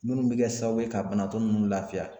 Minnu bɛ kɛ sababu ye ka banatɔ ninnu lafiya